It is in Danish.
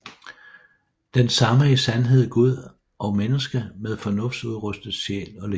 Den samme i sandhed Gud og menneske med fornuftudrustet sjæl og legeme